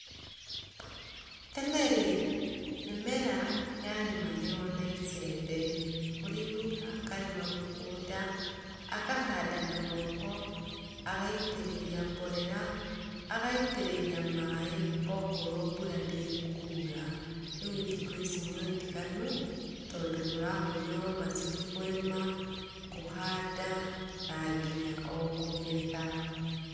Tene rĩ, mĩmera yarĩmagĩrwo na icembe, mũrĩmi akarĩma mũgũnda akahanda na moko, agaitĩrĩraa mborere agaitĩrĩria mborera maĩ akorwo mbura ndĩkura, rĩu thukũ ici nĩ ũtiganu tondũ kũrahũthĩrwo macini kũrĩma, kũrĩma na nginya o gũgetha.